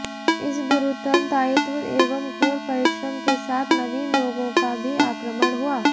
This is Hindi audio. इस गुरुतर दायित्व एवं घोर परिश्रम के साथ नवीन रोगों का भी आक्रमण हुआ